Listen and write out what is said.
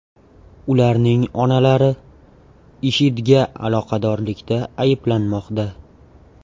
Ularning onalari IShIDga aloqadorlikda ayblanmoqda.